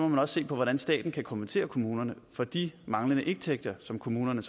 må se på hvordan staten kan kompensere kommunerne for de manglende indtægter som kommunerne